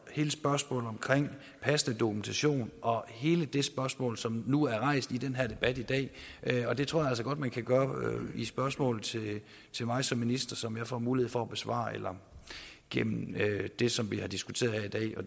hele spørgsmålet om passende dokumentation og hele det spørgsmål som nu er rejst i den her debat i dag bedre og det tror jeg altså godt man kan gøre i spørgsmål til mig som minister som jeg får mulighed for at besvare eller gennem det som vi har diskuteret